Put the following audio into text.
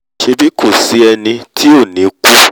ṣèbí kò sí ẹni tí ò ní ò ní kú